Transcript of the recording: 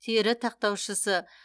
тері тақтаушысы